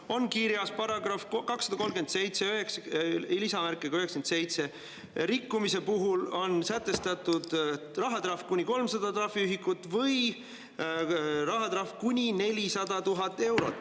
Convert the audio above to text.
See on kirjas §-s 2379: rikkumise puhul on sätestatud rahatrahv kuni 300 trahviühikut või kuni 400 000 eurot.